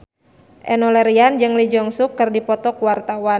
Enno Lerian jeung Lee Jeong Suk keur dipoto ku wartawan